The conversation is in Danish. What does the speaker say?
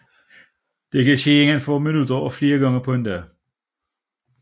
Det kan ske inden for minutter og flere gange på en dag